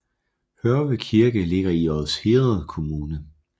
Hørve Kirke ligger i Odsherred Kommune